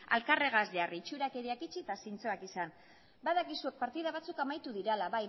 alkarregaz jarri itxurakeriak itxi eta zintzoak izan badakizue partida batzuk amaitu dira bai